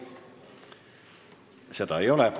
Seda ei ole.